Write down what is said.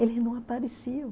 Eles não apareciam.